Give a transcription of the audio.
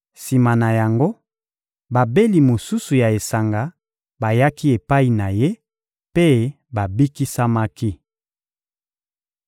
Sima na yango, babeli mosusu ya esanga bayaki epai na ye mpe babikisamaki.